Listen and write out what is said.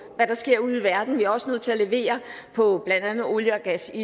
hvad der sker ude i verden vi er også nødt til at levere på blandt andet olie og gas i